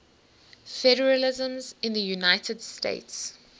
federalism in the united states